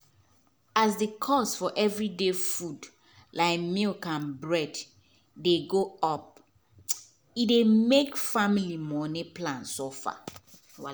as the cost for every day food like milk and bread dey go upe dey make family money plan suffer.